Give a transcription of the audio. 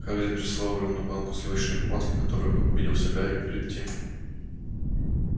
хагрид прислал огромную банку сливочной помадки которую как убедился гарри перед тем